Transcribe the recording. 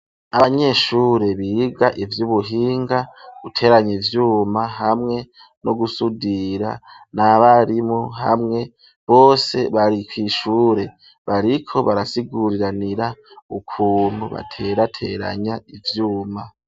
Abanyeshure biga ivy'ubuhinga, guteranya ivyuma hamwe no gusudira n'abarimu hamwe bose bari kw'ishure bariko barasiguriranira ukuntu baterateranya ivyuma.